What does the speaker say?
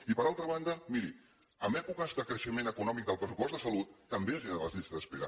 i per altra banda miri en èpoques de creixement econòmic del pressupost de salut també es generaven les llistes d’espera